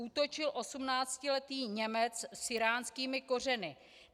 Útočil osmnáctiletý Němec s íránskými kořeny.